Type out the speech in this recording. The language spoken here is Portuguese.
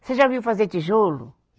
Você já viu fazer tijolo?